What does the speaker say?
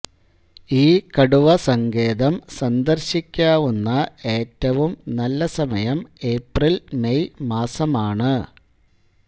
ഈ കടുവസങ്കേതം സന്ദർശിക്കാവുന്ന ഏറ്റവും നല്ല സമയം ഏപ്രിൽ മെയ് മാസമാണ്